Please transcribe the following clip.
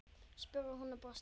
spurði hún og brosti.